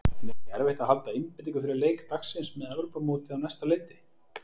En er ekki erfitt að halda einbeitingu fyrir leik dagsins með Evrópumótið á næsta leyti?